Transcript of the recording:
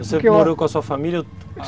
Você que morou com a sua família?